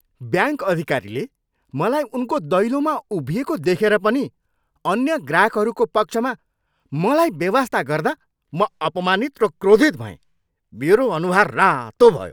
Bank अधिकारीले मलाई उनको दैलोमा उभिइएको देखेर पनि अन्य ग्राहकहरूको पक्षमा मलाई बेवास्ता गर्दा म अपमानित र क्रोधित भएँ, मेरो अनुहार रातो भयो।